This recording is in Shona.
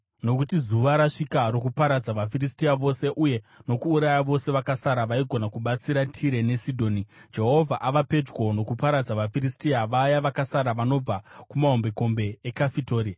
Nokuti zuva rasvika rokuparadza vaFiristia vose, uye nokuuraya vose vakasara vaigona kubatsira Tire neSidhoni. Jehovha ava pedyo nokuparadza vaFiristia, vaya vakasara vanobva kumahombekombe eKafitori.